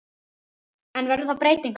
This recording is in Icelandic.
En verður þar breyting á?